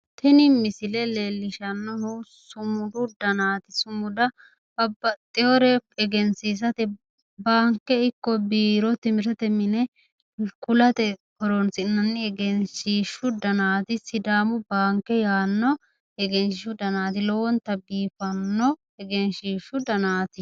tini misile leellishshannohu sumudu danaati sumuda babbaxewore egensiisate baanke ikko biiro timirtete mine kulateeti horonsi'nanni egenshiishshu danaati sidaamu baanke yaanno egenshiishu danaati lowonta biifanno egenshiishshu danaati.